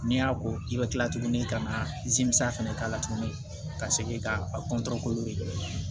N'i y'a ko i bɛ kila tuguni ka na fɛnɛ k'a la tuguni ka segin ka a